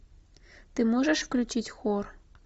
ты можешь включить хор